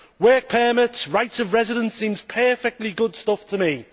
Work permits, rights of residence seems perfectly good stuff to me.